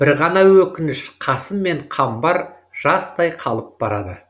бір ғана өкініш қасым мен қамбар жастай қалып барады